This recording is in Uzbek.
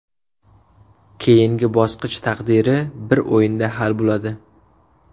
Keyingi bosqich taqdiri bir o‘yinda hal bo‘ladi.